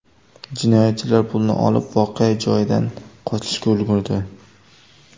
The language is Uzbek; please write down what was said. Jinoyatchilar pulni olib, voqea joyidan qochishga ulgurdi.